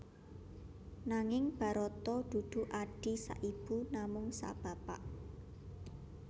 Nanging Barata dudu adhi saibu namung sabapa